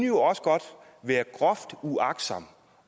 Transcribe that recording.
jo også godt være groft uagtsomt